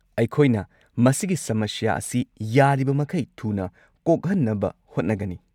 ꯑꯩꯈꯣꯏꯅ ꯃꯁꯤꯒꯤ ꯁꯃꯁ꯭ꯌꯥ ꯑꯁꯤ ꯌꯥꯔꯤꯕꯃꯈꯩ ꯊꯨꯅ ꯀꯣꯛꯍꯟꯅꯕ ꯍꯣꯠꯅꯒꯅꯤ꯫